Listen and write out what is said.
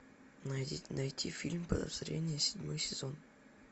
найти фильм подозрение седьмой сезон